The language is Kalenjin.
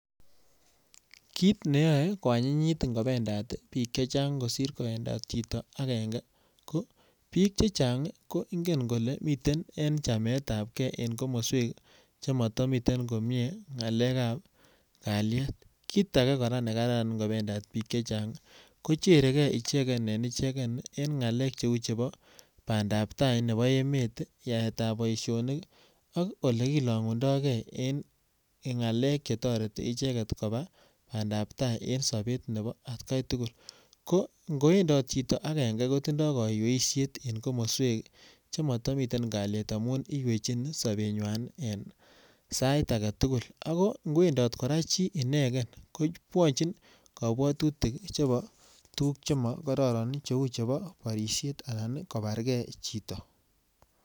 Kit neyoe kwanyinyit ingobendat biik che chang kosir kowendot chito agenge, kobiik che chang ko ingen kole miten en chametabke en komoswek che matamiten komie ngalekab kalyet. Kit age kora ne kararan ingobendat biik che chang kocherege ichegen en ichegen eng ngakek cheu chebo bandabtai nebo emet, yaetab boisionik ak olekilangundoge en ngalek chetoreti icheget koba bandab tai eng sobet nebo atkai tugul ko ingowendot chito agenge ko tindoi kaiyeisiet eng komoswek chematamiten kalyet amun iyechin sobenywan en sait agetugul. Ago ingowendot kora chi inegen kobwochin kabwatutik chebo tuguk chemokororon cheu chebo boisiet anan kobarge chito.